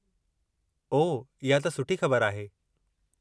ओह, इहा त सुठी ख़बर आहे।